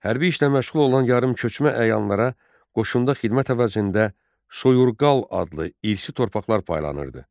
Hərbi işlə məşğul olan yarımköçmə əyanlara qoşunda xidmət əvəzində Soyurqal adlı irsi torpaqlar paylanırdı.